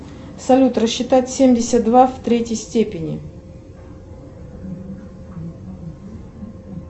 салют рассчитать семьдесят два в третьей степени